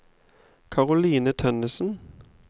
Caroline Tønnesen